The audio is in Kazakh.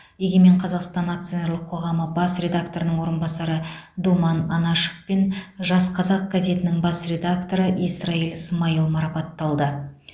егемен қазақстан акционерлік қоғамы бас редакторының орынбасары думан анашов пен жас қазақ газетінің бас редакторы исраил смаил марапатталды